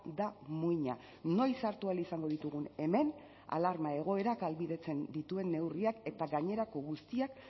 da muina noiz hartu ahal izango ditugun hemen alarma egoerak ahalbidetzen dituen neurriak eta gainerako guztiak